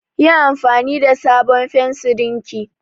Yi anfani da sabon fensirin ki!